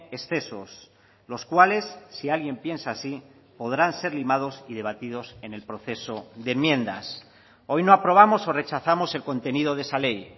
excesos los cuales si alguien piensa así podrán ser limados y debatidos en el proceso de enmiendas hoy no aprobamos o rechazamos el contenido de esa ley